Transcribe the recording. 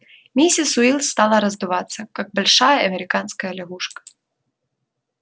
миссис уилс стала раздуваться как большая американская лягушка